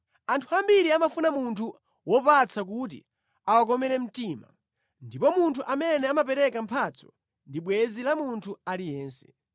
Anthu ambiri amafuna munthu wopatsa kuti awakomere mtima, ndipo munthu amene amapereka mphatso ndi bwenzi la munthu aliyense.